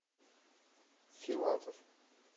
филатов